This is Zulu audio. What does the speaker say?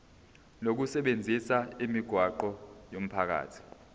lokusebenzisa imigwaqo yomphakathi